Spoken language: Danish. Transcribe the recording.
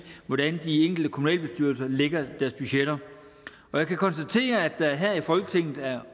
hvordan de enkelte kommunalbestyrelser lægger deres budgetter og jeg kan konstatere at der her i folketinget er